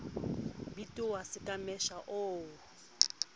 bitoha se ka mesha o